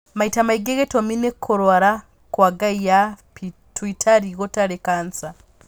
Maĩta maingĩ gĩtũmi nĩ kũrwara kwa ngaĩ ya pituitarĩ gũtarĩ kansa.